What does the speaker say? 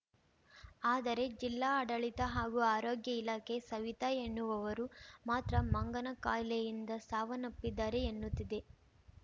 ಆದರೆ ಜಿಲ್ಲಾಡಳಿತ ಹಾಗೂ ಆರೋಗ್ಯ ಇಲಾಖೆ ಸವಿತಾ ಎನ್ನುವವರು ಮಾತ್ರ ಮಂಗನಕಾಯಿಲೆಯಿಂದ ಸಾವನ್ನಪ್ಪಿದ್ದಾರೆ ಎನ್ನುತ್ತಿದೆ